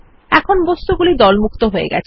এখন বস্তুগুলি দলমুক্ত হয়ে গেছে